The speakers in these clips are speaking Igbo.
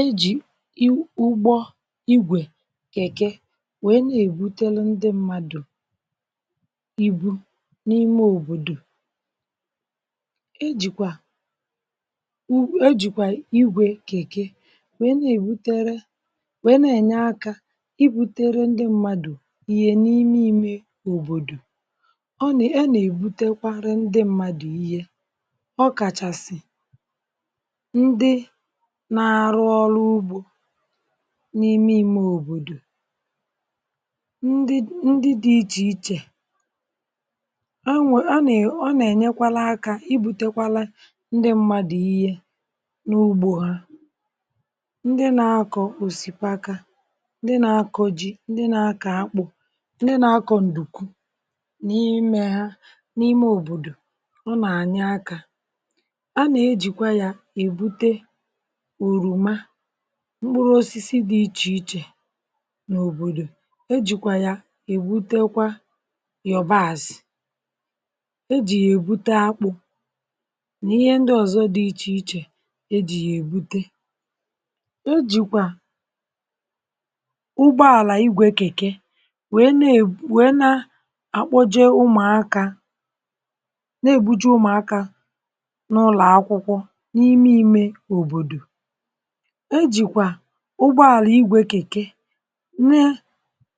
E jì ugbo igwè kèke wee na-èbutere ndị mmadụ̀ ibu̇ n’ime òbòdò. e jìkwà e jìkwà igwè kèke wee na-èbutere wee na-ènye akȧ ibutere ndị mmadụ̀ iyè n’ime imė òbòdò. ọ nà e nà-èbutekwara ndị mmadụ̀ ihe, ọ kàchàsị̀ ndị na arụ ọrụ ụbgọ n’ime imė òbòdò ndị ndị dị̇ ichè ichè anwụ̇ a nà è ọ nà ènyekwala akȧ ibu̇tekwala ndị mmadụ̀ ihe n’ugbȯ ha ndị nȧ akọ̀ òsìpaka, ndị nȧ akọ̀ ji, ndị nȧ akọ̀ àkpụ, ndị nȧ akọ̀ ǹdùkwu, nà ihe imė ha n’ime òbòdò, ọ nà ànyị akȧ ana ejịkwa ya ebụte ọrọmà, mkpụrụosisi dị ichè ichè nà òbòdò, ejìkwà ya èbutekwa yọ̀bazị̀, ejì yà èbute akpụ̇, nà ihe ndị ọ̀zọ dị ichè ichè, E jì yà èbute. Ejìkwà ụgbọàlà igwė kèke wèe na-akpọje ụmụ̀akȧ na-ebuche ụmụ̀akȧ n’ụlọ̀ akwụkwọ n’ime imė òbòdò, ejikwa ụgbọàlà igwė kèke ne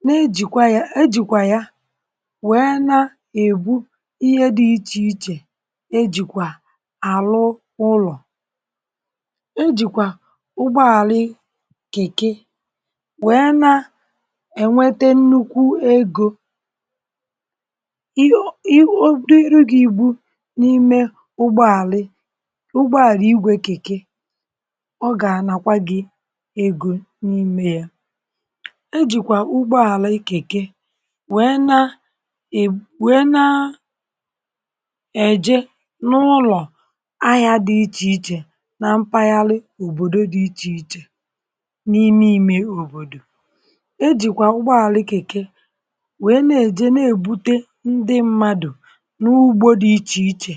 ne jìkwa ya ejìkwa ya wee nà-ègbu ihe dị̇ ichè ichè ejìkwà àlụ ụlọ̀. Ejìkwà ụgbọàlà kèke wee nà-ènwete nnukwu egȯ, ọ dịrụ gị̇ igbu̇ n’ime ụgbọàlà ụgbọàlà igwė kèke ọga anakwa gị egȯ n’ime yȧ. E jìkwà ụgbọ àlà ikèke wẹẹ nȧ ẹ̀wẹ nȧ ẹ̀jẹ n’ụlọ̀ ahịa dị ichèichè nà mpaghara òbòdo dị ichèichè n’ime imė òbòdò. e jìkwà ụgbọ àlà ikèkè wẹẹ nà ẹ̀jẹ nà èbute ndị mmadù n’ugbȯ dị ichèichè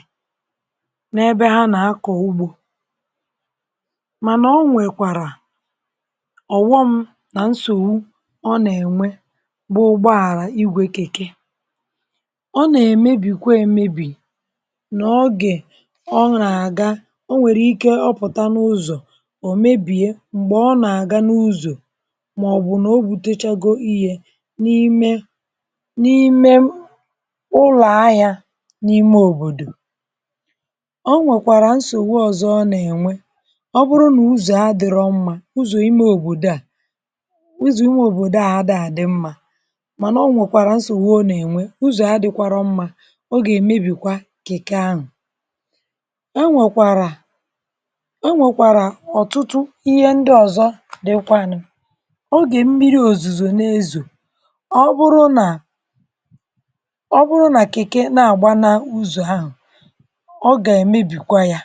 n’ebe ha nà akọ̀ ugbȯ. Mana ọnwekwara ọ̀wọm nà nsòwu ọ nà-ènwe bụ ụgbọàrà igwėkekė, ọ nà-èmebì kwȧ èmebì n’ọgè ọ nà-àga o nwèrè ike ọpụ̀ta n’ụzọ̀ ọ̀ mebìe m̀gbè ọ nà-àga n’ụzọ̀ màọbụ̀ nà o gbutechago ihė n’ime n’ime ụlọ̀ ahịȧ n’ime òbòdò. Ọ nwèkwàrà nsòwu ọ̀zọ ọ nà-ènwe, ọbụrụ nà ụzọ̀ adịrọmmà ụzọ imė òbòdò a ụzọ̀ imė òbòdò a ada a dị̇ mmȧ mànà ọ nwèkwàrà nsògbùo nà-ènwe ụzọ̀ a dị̇kwara mmȧ ọ gà-èmebìkwa kị̀kị ahụ̀. E nwèkwàrà-e nwèkwàrà ọ̀tụtụ ihe ndị ọ̀zọ dịkwanụ. ọ gà-èmmi̇ri̇ òzùzò n’ezò ọ bụrụ nà ọ bụrụ nà kị̀kị na-àgba n’ụzọ̀ ahụ̀ ọ gà-èmebìkwa yȧ.